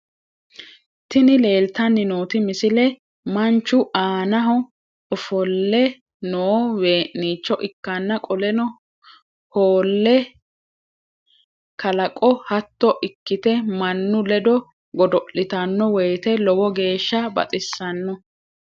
Tini leeltanni nooti misile manchu aana ofollw noo wee'niicho ikkanna qoleno whole kalaqo hatto ikkite mannu ledo godo'litanno woyte lowo geeshsha baxissano.